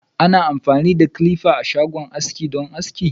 Ana amfani da "clippers" don aski a shagon aski.